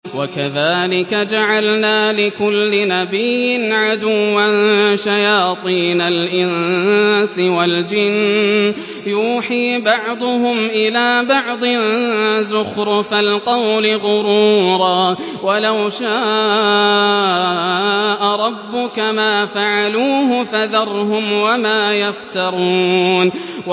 وَكَذَٰلِكَ جَعَلْنَا لِكُلِّ نَبِيٍّ عَدُوًّا شَيَاطِينَ الْإِنسِ وَالْجِنِّ يُوحِي بَعْضُهُمْ إِلَىٰ بَعْضٍ زُخْرُفَ الْقَوْلِ غُرُورًا ۚ وَلَوْ شَاءَ رَبُّكَ مَا فَعَلُوهُ ۖ فَذَرْهُمْ وَمَا يَفْتَرُونَ